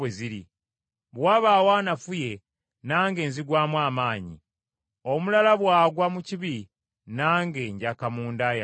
Bwe wabaawo anafuye, nange nzigwamu amaanyi, omulala bw’agwa mu kibi, nange njaka munda yange.